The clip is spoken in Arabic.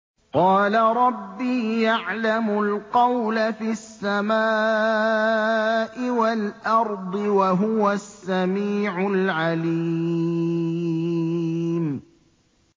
قَالَ رَبِّي يَعْلَمُ الْقَوْلَ فِي السَّمَاءِ وَالْأَرْضِ ۖ وَهُوَ السَّمِيعُ الْعَلِيمُ